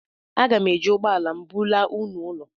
Aga m eji ụgbọ ala m bulaa unu ụlọ